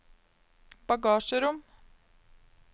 bagasjerom